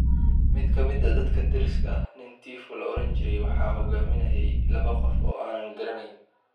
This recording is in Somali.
“Mid ka mid ah dadka dariska ah, nin Tifu la odhan jiray, waxa hoggaaminayay laba qof oo aanan garanayn.